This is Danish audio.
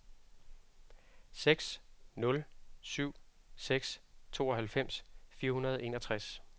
seks nul syv seks tooghalvfems fire hundrede og enogtres